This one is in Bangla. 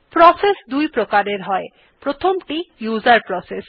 প্রসেস দুইপ্রকার হয় প্রথমটি উসের প্রসেস